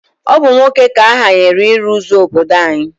Ọ bụ nwoke ka ahanyere ịrụ ụzọ obodo anyị